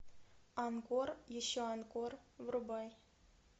анкор еще анкор врубай